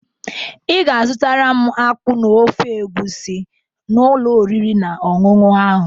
Ị ga azụtara m akpu na ofe egusi n'ụlọ oriri na ọṅụṅụ ahụ